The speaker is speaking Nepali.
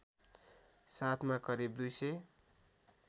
साथमा करिब २००